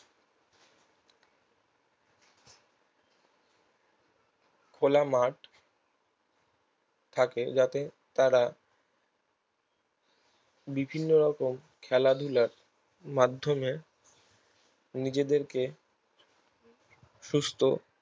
খোলামাঠে যাতে তারা বিভিন্ন রকম খেলাধুলার মাধ্যমে নিজেদেরকে সুস্থ